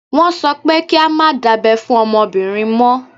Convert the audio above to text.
Wọ́n sọ pé kí á má dábẹ́ fún ọmọbìnrin mọ́.